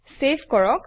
save কৰক